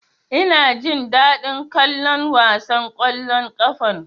Ina jin daɗin kallon wasan ƙwallon ƙafan.